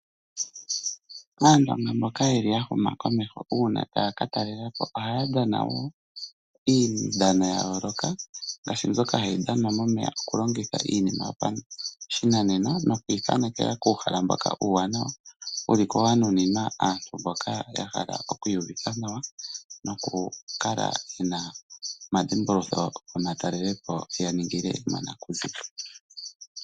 Aantu mboka ya huma komeho uuna taya ka talela po ohaya dhana wo iidhano ya yooloka ngaashi mbyoka hayi dhanwa momeya oku longitha omikalo dhopashinanena noku ithaanekela kuuhala mboka uuwanawa wuli ko wanuninwa aantu mboka ya hala oku iyuvitha nawa noku kala yena omadhimbulukitho gomatalelepo ya ningile monakuziwa.